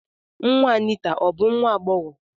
Nwa Anita ọ bụ nwa agbọghọ?